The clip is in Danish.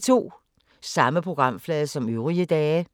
Samme programflade som øvrige dage